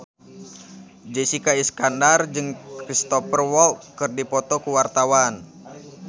Jessica Iskandar jeung Cristhoper Waltz keur dipoto ku wartawan